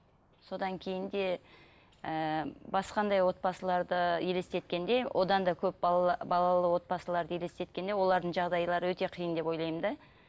содан кейін де ыыы басқандай отбасыларды елестеткенде одан да көп балалы отбасыларды елестеткенде олардың жағдайлары өте қиын деп ойлаймын да